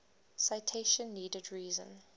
citation needed reason